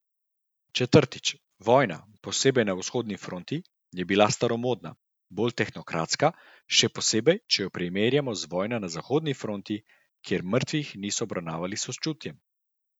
Četrtič, vojna, posebej na vzhodni fronti, je bila bolj staromodna, bolj tehnokratska, še posebej, če jo primerjamo z vojno na zahodni fronti, kjer mrtvih niso obravnavali s sočutjem.